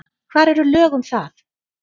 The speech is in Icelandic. Hvar eru lög um það?